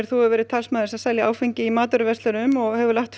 þú hefur verið talsmaður þess að selja áfengi í matvöruverslunum og hefur lagt